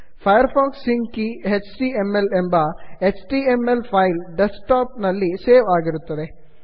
Firefox sync keyಎಚ್ಟಿಎಂಎಲ್ ಎಂಬ H T M L file desktop ನಲ್ಲಿ ಸೇವ್ ಆಗಿರುತ್ತದೆ